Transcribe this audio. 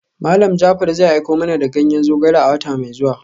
Malam Jaafar zai aiko mana da ganyen zogale a wata mai zuwa.